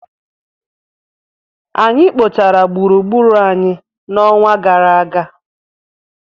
Anyị kpochara gburugburu anyị n'ọnwa gara aga.